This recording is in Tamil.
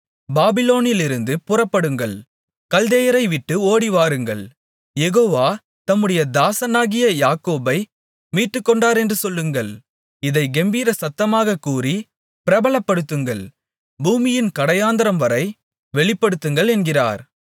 பாபிலோனிலிருந்து புறப்படுங்கள் கல்தேயரைவிட்டு ஓடிவாருங்கள் யெகோவா தம்முடைய தாசனாகிய யாக்கோபை மீட்டுக்கொண்டாரென்று சொல்லுங்கள் இதைக் கெம்பீரசத்தமாகக் கூறிப் பிரபலப்படுத்துங்கள் பூமியின் கடையாந்தரவரை வெளிப்படுத்துங்கள் என்கிறார்